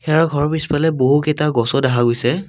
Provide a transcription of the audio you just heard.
ইয়াৰ ঘৰৰ পিছফালে বহুকেইটা গছো দেখা গৈছে।